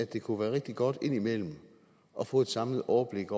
det kunne være rigtig godt indimellem at få et samlet overblik